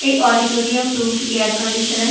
এই auditorium room টি air conditional.